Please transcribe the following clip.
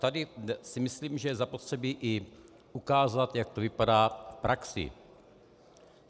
Tady si myslím, že je zapotřebí i ukázat, jak to vypadá v praxi.